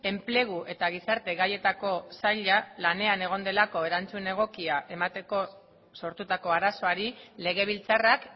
enplegu eta gizarte gaietako saila lanean egon delako erantzun egokia emateko sortutako arazoari legebiltzarrak